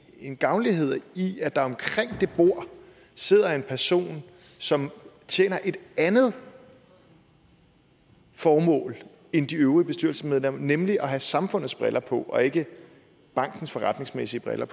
en gavnlighed i at der omkring det bord sidder en person som tjener et andet formål end de øvrige bestyrelsesmedlemmer nemlig at have samfundets briller på og ikke bankens forretningsmæssige briller